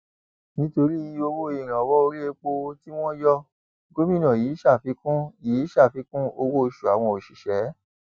nítorí owó ìrànwọ orí epo tí wọn yọ gómìnà yìí ṣàfikún yìí ṣàfikún owóoṣù àwọn òṣìṣẹ